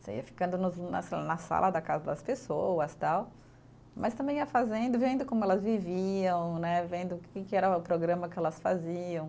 Você ia ficando nos na, na sala da casa das pessoas tal, mas também ia fazendo, vendo como elas viviam né, vendo o que que era o programa que elas faziam.